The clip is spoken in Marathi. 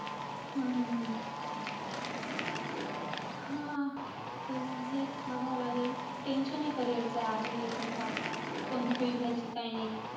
हम्म हा. ते आहे बघावं लागेल. Tension ए career च हे पण फार. कोणती field घ्यायची काय नाही.